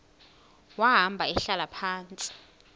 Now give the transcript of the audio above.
wahamba ehlala phantsi